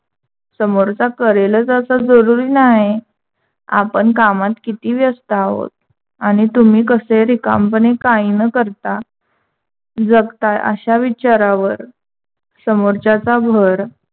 समोरचा करेलचं असं जरूरी नाही. आपण कामात किती व्यस्त आहोत आणि तुम्ही कसे रिकामपणे काही न करता जगताय अश्या विचारावर समोरच्याच भर